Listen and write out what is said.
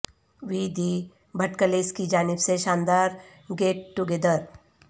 وی دی بھٹکلیس کی جانب سے شاندار گیٹ ٹو گیدر